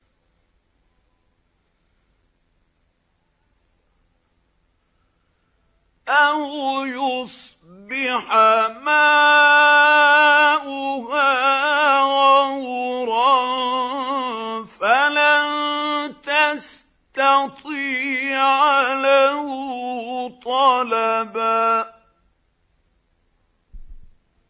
أَوْ يُصْبِحَ مَاؤُهَا غَوْرًا فَلَن تَسْتَطِيعَ لَهُ طَلَبًا